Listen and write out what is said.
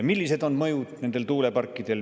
Millised on nende tuuleparkide mõjud?